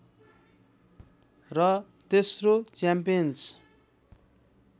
र तेस्रो च्याम्पियन्स